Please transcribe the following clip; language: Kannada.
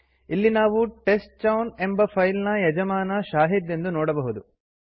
ಇಲ್ಲಿ ನಾವು ಟೆಸ್ಟ್ಚೌನ್ ಎಂಬ ಫೈಲ್ ನ ಯಜಮಾನ ಶಾಹಿದ್ ಎಂದು ನೋಡಬಹುದು